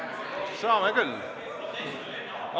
Saame küll!